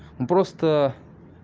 просто